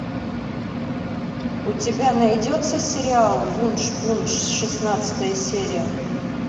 у тебя найдется сериал вуншпунш шестнадцатая серия